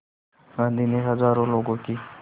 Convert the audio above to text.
गांधी ने हज़ारों लोगों की